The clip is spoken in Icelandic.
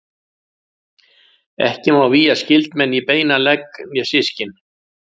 Ekki má vígja skyldmenni í beinan legg né systkin.